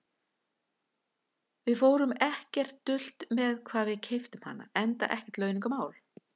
Við fórum ekkert dult með hvar við keyptum hana, enda ekkert launungarmál.